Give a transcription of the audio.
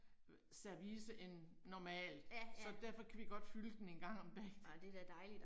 Øh service end normalt. Så derfor kan vi godt fylde den en gang om dagen